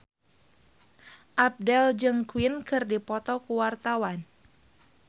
Abdel jeung Queen keur dipoto ku wartawan